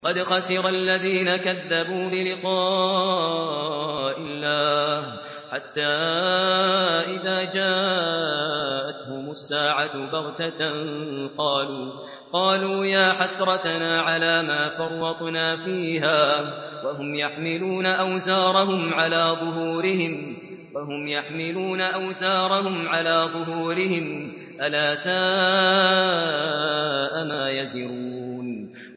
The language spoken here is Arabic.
قَدْ خَسِرَ الَّذِينَ كَذَّبُوا بِلِقَاءِ اللَّهِ ۖ حَتَّىٰ إِذَا جَاءَتْهُمُ السَّاعَةُ بَغْتَةً قَالُوا يَا حَسْرَتَنَا عَلَىٰ مَا فَرَّطْنَا فِيهَا وَهُمْ يَحْمِلُونَ أَوْزَارَهُمْ عَلَىٰ ظُهُورِهِمْ ۚ أَلَا سَاءَ مَا يَزِرُونَ